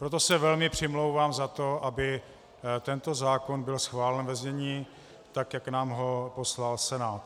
Proto se velmi přimlouvám za to, aby tento zákon byl schválen ve znění, tak jak nám ho poslal Senát.